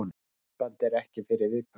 Þetta myndband er ekki fyrir viðkvæma.